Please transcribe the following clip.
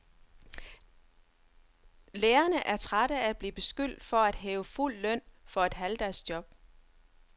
Lærerne er trætte af at blive beskyldt for at hæve fuld løn for et halvdagsjob.